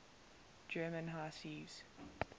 german high seas